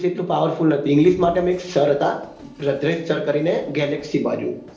બ english એટલું power full નથી english માટે મેં એક sir હતા ભાદ્રેક sir કરી ને galaxy બાજુ